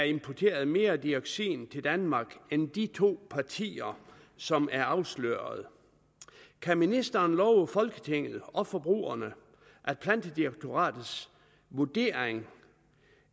importeret mere dioxin til danmark end de to partier som er afsløret kan ministeren love folketinget og forbrugerne at plantedirektoratets vurdering